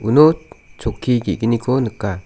u no chokki ge·gniko nika.